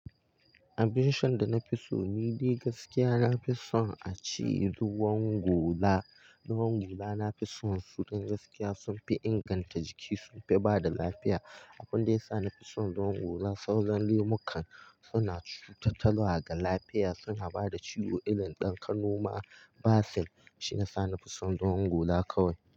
Abin shan da na fi so ni dai gaskiya na fi son a ce ruwan gola. Ruwan gola na fi son su don gaskiya sun fi inganta jiki, sun fi bada lafiya. Abun da ya sa na fi son ruwan gola, sauran lemukan suna cuta talwa ga lafiya, suna bada ciwo, irin dan kanoma. Basir shiyasa na fi son ruwan gola kawai.